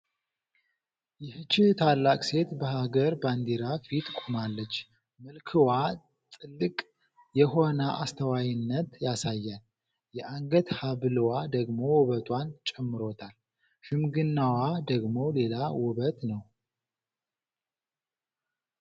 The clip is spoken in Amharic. ይህች ታላቅ ሴት! በሀገር ባንዲራ ፊት ቆማለች። መልክዋ ጥልቅ የሆነ አስተዋይነትን ያሳያል፤ የአንገት ሐብልዋ ደግሞ ውበቷን ጨምሮታል! ሽምግናዋ ደግሞ ሌላ ዉበት ነው።